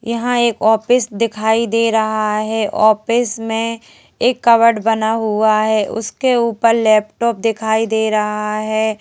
यहां एक ऑफिस दिखाई दे रहा है ऑफिस में एक कवर्ड बना हुआ है उसके ऊपर लैपटॉप दिखाई दे रहा है।